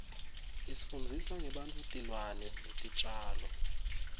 isfundzisa ngebantfutilwane netitjalo